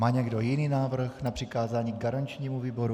Má někdo jiný návrh na přikázání garančnímu výboru?